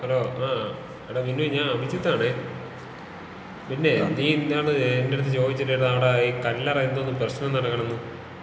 Hello, ങാ, എടാ വിനു ഞാൻ അഭിജിത്താണേ. പിന്നെ, നീ ഇന്നാള് എന് റെട്ത്ത് ചോദിച്ചില്ലായിരുന്നാടാ ഈ കല്ലറ എന്തോന്ന് പ്രശ്നം നടക്കണന്ന്.